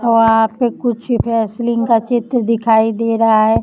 वहां पे कुछ व्हॅसेलीन का चित्र दिखाई दे रहा है।